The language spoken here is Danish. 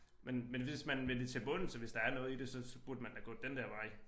Men men hvis man vil det til bunds og hvis der er noget i det så så burde man da gå den der vej